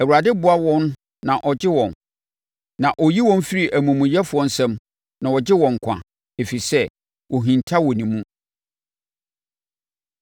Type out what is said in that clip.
Awurade boa wɔn na ɔgye wɔn; ɔyi wɔn firi amumuyɛfoɔ nsam na ɔgye wɔn nkwa, ɛfiri sɛ wɔhinta wɔ ne mu.